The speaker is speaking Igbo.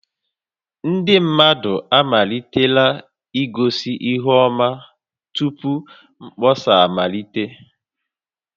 Ndị mmadụ amalitela igosi ihu ọma tupu mkpọsa amalite